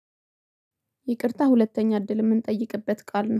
ይቅርታ ሁለተኛ እድል የምንጠይቅበት ቃል ነው።